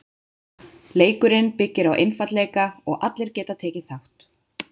Leikurinn byggir á einfaldleika og allir geta tekið þátt.